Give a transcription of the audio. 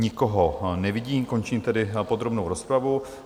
Nikoho nevidím, končím tedy podrobnou rozpravu.